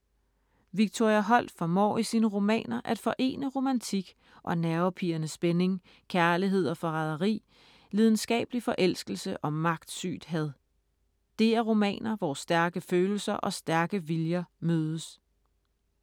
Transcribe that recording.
Victoria Holt formår i sine romaner at forene romantik og nervepirrende spænding, kærlighed og forræderi, lidenskabelig forelskelse og magtsygt had. Det er romaner, hvor stærke følelser og stærke viljer mødes.